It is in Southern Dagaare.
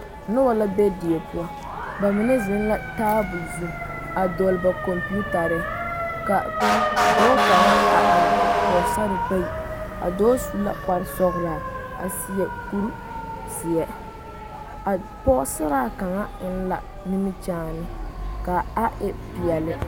Noba la be die poɔ ba mine zeŋ la tabol zu a dɔgle ba kɔmpetare ka dɔɔ kaŋa a are kɔge pɔgesare bayi a dɔɔ su la kparesɔglaa a seɛ kurizeɛ a pɔgesaraa kaŋ eŋ la nimikyaane k,a e peɛle.